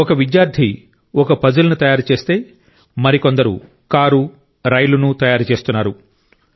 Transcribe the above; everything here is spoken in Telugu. ఒక విద్యార్థి ఒక పజిల్ ను తయారు చేస్తే మరి కొందరు కారు రైలును తయారు చేస్తున్నారు